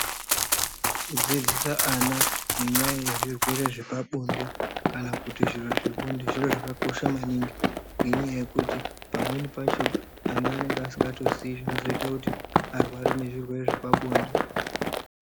Kudzidzisa vana nenyaya yezvirwere zvepabonde kana kuti zviro zvebonde, zviro zvakakosha maningi ngenyaya yekuti pamwe pacho ana anenge asingatoziyi zvinoita kuti varware ngezvirwere zvepabonde.